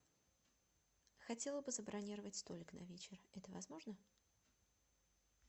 хотела бы забронировать столик на вечер это возможно